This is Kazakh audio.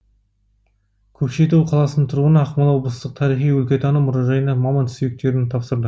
көкшетау қаласының тұрғыны ақмола облыстық тарихи өлкетану мұражайына мамонт сүйектерін тапсырды